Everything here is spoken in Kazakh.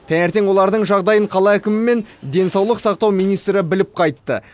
таңертең олардың жағдайын қала әкімі мен денсаулық сақтау министрі біліп қайтты